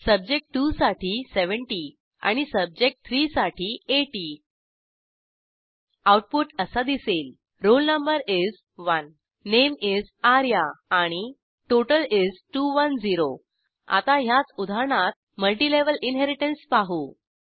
subject 2 साठी 70 आणि subject 3 साठी 80 आऊटपुट असा दिसेल roll no is 1 name is Arya आणि टोटल is 210 आता ह्याच उदाहरणात मल्टिलेव्हल इनहेरिटन्स पाहू